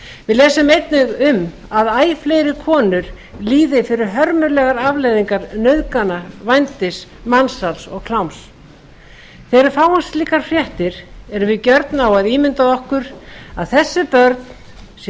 við lesum einnig um að æ fleiri konur líði fyrir hörmulegar afleiðingar nauðgana vændis mansals og kláms þegar við fáum slíkar fréttir erum við gjörn á að ímynda okkur að þessi börn séu